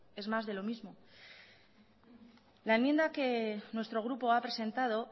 es más de lo mismo la enmienda que nuestro grupo ha presentado